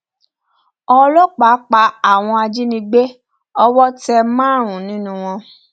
ọlọpàá pa àwọn ajìnígbé owó tẹ márùnún nínú wọn